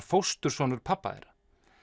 fósturson pabba þeirra